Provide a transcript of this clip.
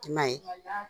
I ma ye